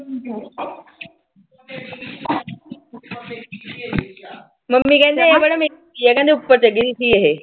mummy ਕਹਿੰਦੇ ਕਹਿੰਦੇ ਉਪਰ ਚੜੀ ਹੋਈ ਸੀ ਇਹੇ